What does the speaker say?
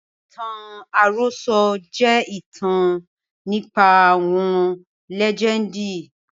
Ìtàn àròsọ̀ je ìtàn nípa àwọn lẹ́jẹndì